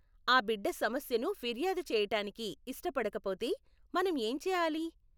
ఆ బిడ్డ సమస్యను ఫిర్యాదు చేయటానికి ఇష్టపడకపోతే మనం ఏం చేయాలి?